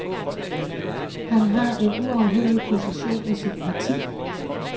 Han har en uafhængig position i sit parti.